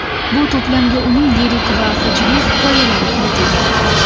Bu to‘plamga uning lirik va hajviy hikoyalari kiritilgan.